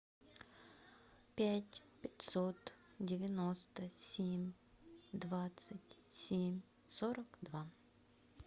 пять пятьсот девяносто семь двадцать семь сорок два